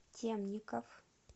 темников